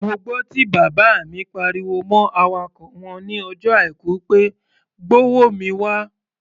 Mo gbọ́ tí bàbá mi pariwo mọ́ awakọ̀ wọn ní ọjọ́ Àìkú pé "gbówó mi wá!"